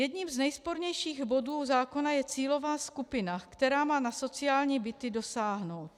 Jedním z nejspornějších bodů zákona je cílová skupina, která má na sociální byty dosáhnout.